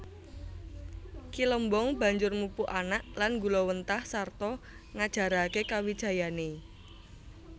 Ki Lembong banjur mupu anak lan nggulawentah sarta ngajaraké kawijayané